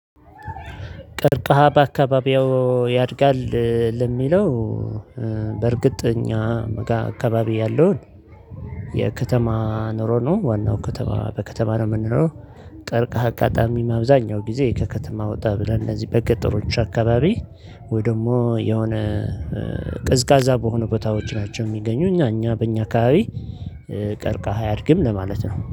ቀርቃሃ በአካባቢው ያድጋል። ለሚለው በእርግጥ እኛ መጋ አካባቢ ያለውን የከተማ ኑሮ ነው ዋናው ከተማ በከተማ ነው የምንኖረው። ቀርቀሃ አጋጣሚ አብዛኛው ጊዜ ከከተማ ወጣ ብለን እነዚህ በገጠሮች አካባቢ ወይ ደግሞ የሆነ ቅዝቃዛ በሆነ ቦታዎች ናቸው። የሚገኙ እኛ እኛ በእኛ አካባቢ ቀርቀሃ አያድግም ለማለት ነው